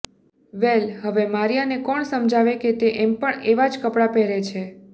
વેલ હવે મારીયાને કોણ સમજાવે કે તે એમ પણ એવા જ કપડાં પહેરે છે